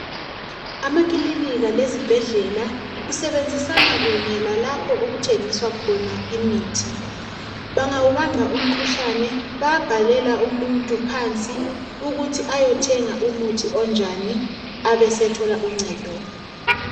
Amakilinika lezibhedlela kusebenzisana kunye lalapho okuthengiswa khona imithi bangawubamba umkhuhlane bayabhalela umuntu phansi ukuthi ayothenga umuthi onjani abesethola uncedo